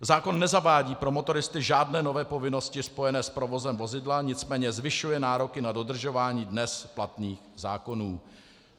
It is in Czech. Zákon nezavádí pro motoristy žádné nové povinnosti spojené s provozem vozidla, nicméně zvyšuje nároky na dodržování dnes platných zákonů.